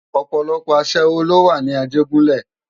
Òpòlòpò aṣèwó ló wá ni Ajegunle